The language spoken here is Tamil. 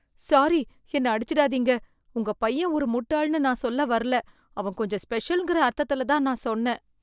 சாரி! என்ன அடிச்சுடாதீங்க. உங்க பையன் ஒரு முட்டாள்னு நான் சொல்ல வரல, அவன் கொஞ்சம் ஸ்பெஷல்ங்கிற அர்த்தத்துல தான் நான் சொன்னேன்.